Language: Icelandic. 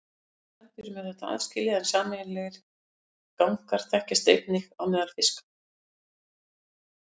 Hjá flestum spendýrum er þetta aðskilið en sameiginlegir gangar þekkjast einnig á meðal fiska.